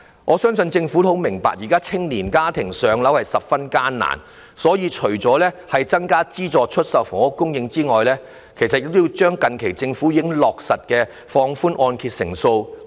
我相信政府也很明白，現時年青家庭置業十分困難，故此除了增加資助出售房屋供應外，政府其實亦要繼續推行近期落實的放寬按揭成數措施。